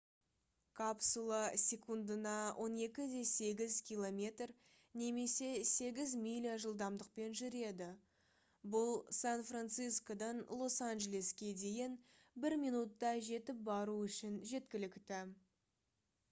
капсула секундына 12,8 км немесе 8 миля жылдамдықпен жүреді бұл сан-франсискодан лос-анжелеске дейін бір минутта жетіп бару үшін жеткілікті